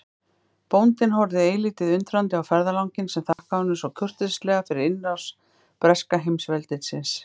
Bóndinn horfði eilítið undrandi á ferðalanginn sem þakkaði honum svo kurteislega fyrir innrás breska heimsveldisins.